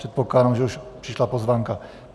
Předpokládám, že už přišla pozvánka.